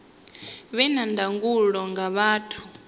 vhe na ndangulo nga vhathu